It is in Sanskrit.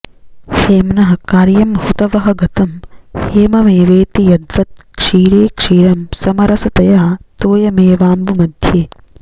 हेम्नः कार्यं हुतवहगतं हेममेवेति यद्वत् क्षीरे क्षीरं समरसतया तोयमेवाम्बु मध्ये